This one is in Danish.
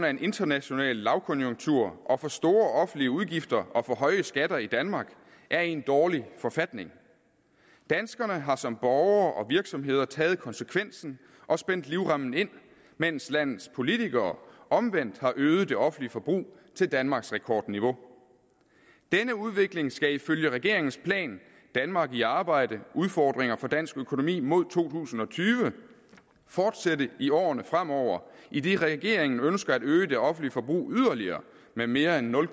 en international lavkonjunktur og for store offentlige udgifter og for høje skatter i danmark er i en dårlig forfatning danskerne har som borgere og virksomheder taget konsekvensen og spændt livremmen ind mens landets politikere omvendt har øget det offentlige forbrug til danmarksrekordniveau denne udvikling skal ifølge regeringens plan danmark i arbejde udfordringer for dansk økonomi mod to tusind og tyve fortsætte i årene fremover idet regeringen ønsker at øge det offentlige forbrug yderligere med mere end nul